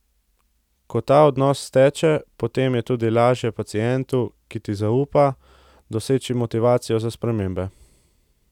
Ko ta odnos steče, potem je tudi lažje pacientu, ki ti zaupa, doseči motivacijo za spremembe.